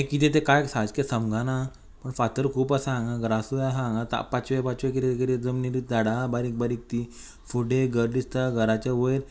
हे किदे ते काय सारखे समजाना पूण फातर खूप आसा हांगा ग्रासूय आहा हांगा ता पांचवे पाचवे किदे किदे जमनीरूत झाडा आहा बारीक बारीक ती फुडे घर दीस्ता घराच्या वयर --